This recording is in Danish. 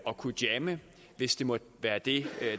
at kunne jamme hvis det måtte være det